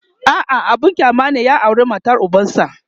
a'a abun kyama ne ya aura matar ubansa